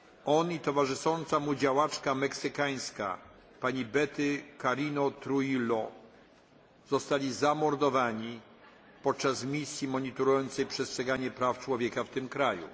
On i towarzysząca mu działaczka meksykańska, pani Betty Cariño Trujillo, zostali zamordowani podczas misji monitorującej przestrzeganie praw człowieka w tym kraju.